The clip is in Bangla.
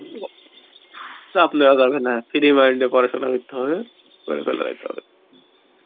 উয়া চাপ নেওয়া যাবে না free mind এ পড়াশোনা করতে হবে করে চালাইতে হবে